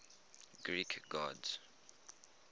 greek gods